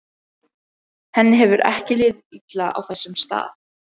Henni hefur ekki liðið illa á þessum stað.